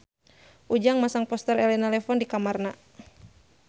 Ujang masang poster Elena Levon di kamarna